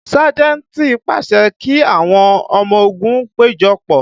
Sájẹ̀ntì pàṣẹ kí àwọn ọmọ ogun péjọpọ̀